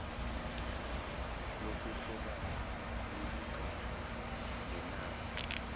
lokuhlobana lilingana nenani